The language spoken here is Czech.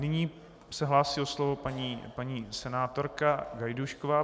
Nyní se hlásí o slovo paní senátorka Gajdůšková.